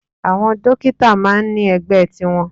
Àwọn Dókítà máà ń ní ẹgbẹ́ tiwọn.